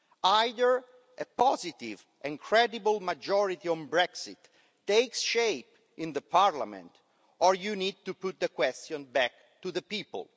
Either a positive and credible majority on Brexit takes shape in the parliament, or you need to put the question back to the people.